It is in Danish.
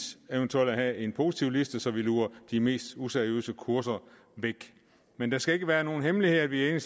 eventuelt at have en positivliste så vi luger de mest useriøse kurser væk men det skal ikke være nogen hemmelighed at vi i